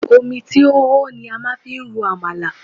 Omi tí ó hó ni a máa fi ń ro Àmàlà.